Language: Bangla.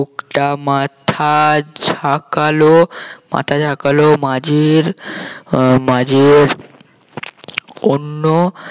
লোকটা মাথা ঝাঁকালো মাথা ঝাঁকালো মাঝির আহ মাঝির অন্য